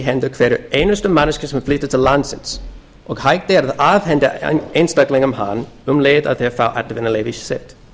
hendur hverrar einustu manneskju sem flytur til landsins og hægt er að afhenda einstaklingum hann um leið og þeir fá atvinnuleyfi sitt